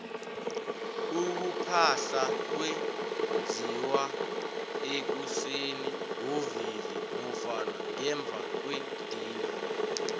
ukuphahla kwenziwa ekuseni ngovivi nofana ngemvakwedina